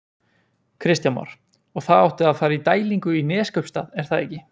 Kristján Már: Og það átti að fara í dælingu í Neskaupstað er það ekki?